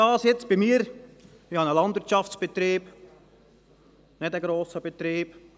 Ich habe einen Landwirtschaftbetrieb, kein grosser Betrieb.